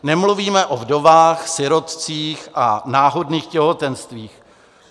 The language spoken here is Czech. Nemluvíme o vdovách, sirotcích a náhodných těhotenstvích.